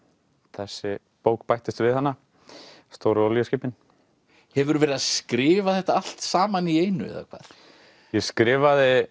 þessi bók bættist við stóru olíuskipin hefurðu verið að skrifa þetta allt saman í einu eða hvað ég skrifaði